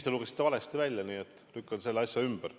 Te lugesite selle valesti välja, ma lükkan selle asja ümber.